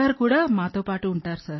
భర్త మా అమ్మ ఉన్నారు